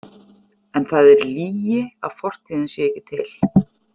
En það er lygi að fortíðin sé ekki til.